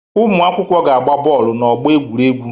Ụmụ akwụkwọ ga-agba bọọlụ n'ọgbọ egwuregwu